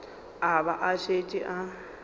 a ba a šetše a